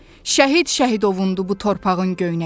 Şəhid Şəhidovundur bu torpağın göynəyi.